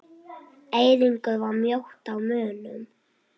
Eiríkur var mjótt á munum?